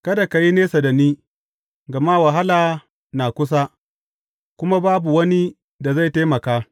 Kada ka yi nesa da ni, gama wahala na kusa kuma babu wani da zai taimaka.